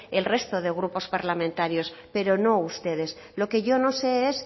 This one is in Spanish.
el resto de grupos parlamentarios pero no ustedes lo que yo no sé es